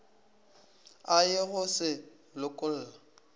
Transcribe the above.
a ye go se lokolla